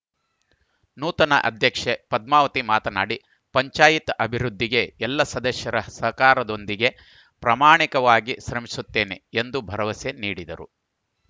ನೂತನ ಅಧ್ಯಕ್ಷೆ ಪದ್ಮಾವತಿ ಮಾತನಾಡಿ ಪಂಚಾಯಿತಿ ಅಭಿವೃದ್ಧಿಗೆ ಎಲ್ಲ ಸದಸ್ಯರ ಸಹಕಾರದೊಂದಿಗೆ ಪ್ರಾಮಾಣಿಕವಾಗಿ ಶ್ರಮಿಸುತ್ತೇನೆ ಎಂದು ಭರವಸೆ ನೀಡಿದರು